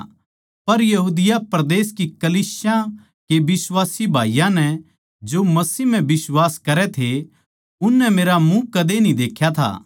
पर यहूदिया परदेस की कलीसियां के बिश्वासी भाईयाँ नै जो मसीह म्ह बिश्वास करै थे उननै मेरा मुँह कदे न्ही देख्या था